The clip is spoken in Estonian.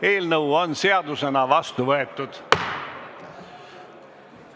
Eelnõu on seadusena vastu võetud.